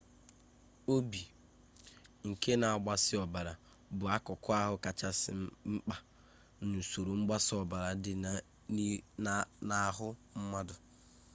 obi nke na-agbasa ọbara bụ akụkụ ahụ kachasị mkpa n'usoro mgbasa ọbara dị n'ahụ mmadụ